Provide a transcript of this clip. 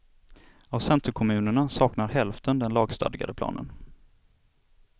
Av centerkommunerna saknar hälften den lagstadgade planen.